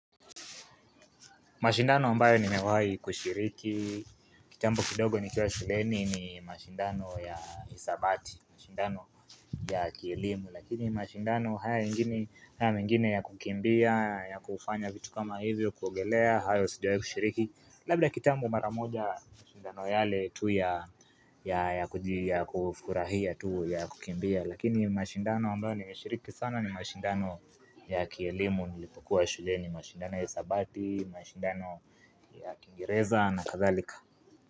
Mashindano ambayo nimewahi kushiriki Kitambu kidogo nikiwa shuleni ni mashindano ya hisabati. Mashindano ya kielimu lakini mashindano haya mengine ya kukimbia ya kufanya vitu kama hivyo kuogelea hayo sijawahi kushiriki. Labda kitambu mara moja mashindano yale tu ya ya ya kujia ya kufurahia tu ya kukimbia Lakini mashindano ambayo nimeshiriki sana ni mashindano ya kielimu nilipokuwa shuleni mashindano ya hisabati, mashindano ya kiingireza na kathalika.